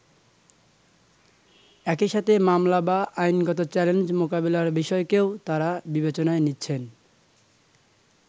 একইসাথে মামলা বা আইনগত চ্যালেঞ্জ মোকাবিলার বিষয়কেও তারা বিবেচনায় নিচ্ছেন।